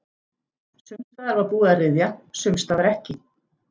Sums staðar var búið að ryðja, sums staðar ekki.